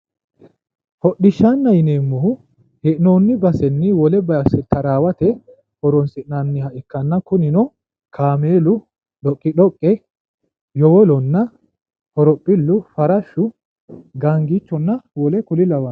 Hodhishshanna yineemomhu, hee'noonni basenni wole base taraawate horonsi'nanniha ikkanna kunino kaameelu doqidoqqe yowolonna horophillu farashshu gaangichunna wole kuri lawanno.